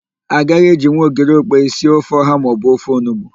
A gaghị ejinwu ogiri okpei sie ofe ọ̀há maọbụ ofe onugbu.